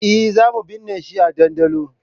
Eh, zamu binne shi a ɗandolo